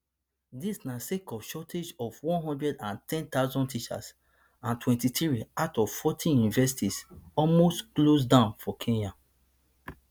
dis na sake of shortage of one hundred and ten thousand teachers and twenty-three out of forty universities almost close down for kenya